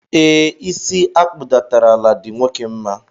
E, isi akpudatara ala di nwoke mma.